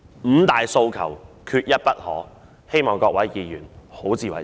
"五大訴求，缺一不可"，希望各位議員好自為之。